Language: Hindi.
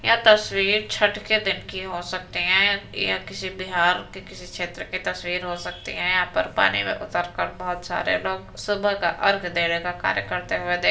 यह तस्वीर छठ के दिन की हो सकती है। ये किसी बिहार के किसी क्षेत्र की तस्वीर हो सकती है। यहाँ पर पानी में उतरकर बहुत सारे लोग सुबह का अर्घ्य देने का कार्य करते हुए देख --